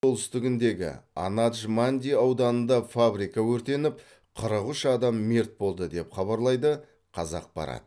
солтүстігіндегі анадж манди ауданында фабрика өртеніп қырық үш адам мерт болды деп хабарлайды қазақпарат